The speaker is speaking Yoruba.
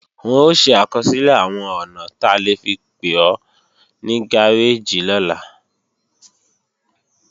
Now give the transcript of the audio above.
Wọn ó ṣe àkọsílẹ̀ àwọn ọ̀nà ta lè fi pè ó ní gáréèjì lọ́la